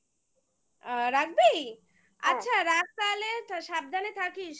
আ রাখবি? হ্যাঁ আচ্ছা রাখ তাহলে সাবধানে থাকিস